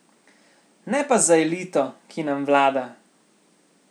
Ne pa za elito, ki nam vlada!